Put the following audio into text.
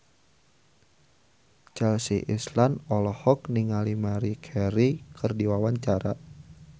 Chelsea Islan olohok ningali Maria Carey keur diwawancara